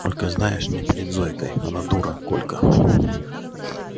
только знаешь не перед зойкой она дура колька